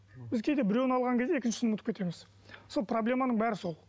біз кейде біреуін алған кезде екіншісін ұмытып кетеміз сол проблеманың бәрі сол